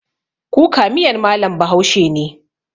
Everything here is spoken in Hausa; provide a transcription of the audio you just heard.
Kuka miyar mallam bahaushe ne